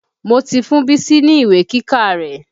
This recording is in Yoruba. Mo ti fún Bísí ní ìwé kíkà rẹ̀.